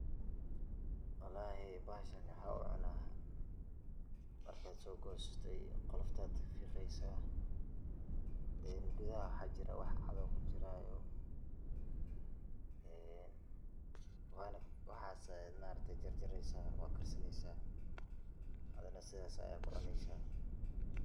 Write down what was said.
Walahi, bahashan waxaan u cunaah, markad so gosato qolofta kafiqeysaah, gudaha waxaa jiraah wax cad oo , waxas aad maaragte jarjareysaah. oo na sidas ad kucuneysaah.